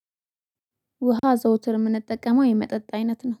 ውሃ ዘውትር የምንጠቀመው የመጠጥ አይነት ነው